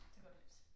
Så går det løs